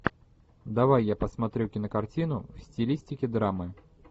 давай я посмотрю кинокартину в стилистике драмы